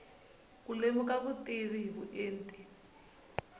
ku lemuka vutivi hi vuenti